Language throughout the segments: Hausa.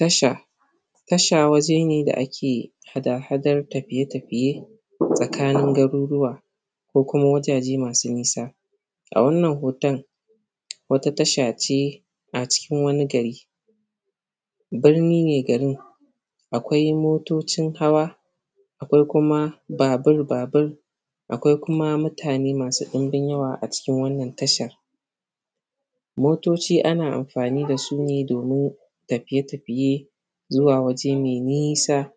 Tasha. Tasha waje ne da ake hadahadar tafiye-tafiye tsakanin garuruwa ko kuma wajaje masu nisa. A wannan hoton, wata tasha ce na cikin wani gari birni ne gari, akwai motocin hawa, akwai kuma baburbabur, akwai kuma mutane masu ɗinbin yawa a cikin wannan tasha Motoci ana amfani da su ne domin tafiye-tafiye zuwa waje mai nisa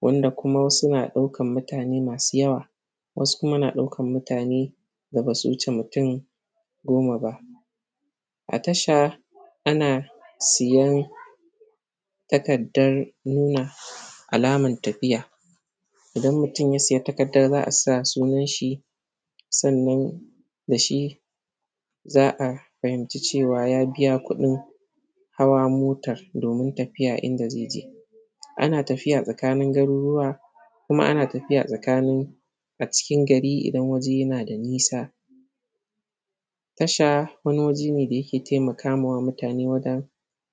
wanda kuma wasu na ɗaukan mutane masu yawa, wasu kuma na ɗaukan mutane da ba su wuce mutum goma ba. A tasha, ana siyan takaddar nuna alaman tafiya. Idan mutum ya saya takadda, za a sa sunan shi, sannan da shi za a fahimci cewa ya biya kuɗin hawa motar domin tafiya inda ze je Ana tafiya tsakanin garuruwa, kuma ana tafiya tsakanin a cikin gari idan waje yana da nisa. Tasha wani waje ne da yake taimaka wa mutane wajen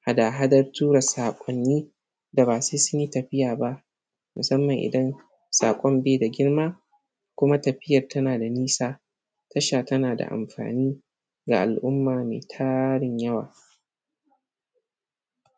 hadahadar tura saƙonni da ba sai sun yi tafiya ba, musamman idan saƙon be da girma kuma tafiyar tana da nisa tasha tana da amfani ga al’umma me tarin yawa.